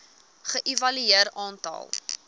ge evalueer aantal